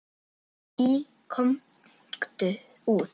Í Komdu út!